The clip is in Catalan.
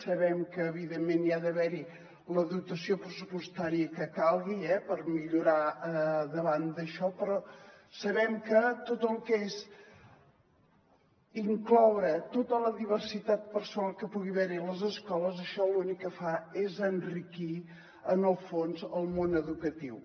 sabem que evidentment hi ha d’haver la dotació pressupostària que calgui per millorar davant d’això però sabem que tot el que és incloure tota la diversitat personal que pugui haver hi a les escoles això l’únic que fa és enriquir en el fons el món educatiu